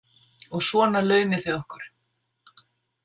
Og svona launið þið okkur.